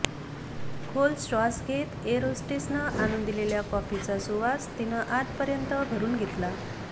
खोल श्वास घेत एअर होस्टेसनं आणुन दिलेल्या कॉफीचा सुवास तिनं आतपर्यंत भरुन घेतला